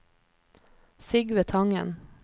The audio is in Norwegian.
Sigve Tangen